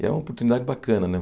E é uma oportunidade bacana, né?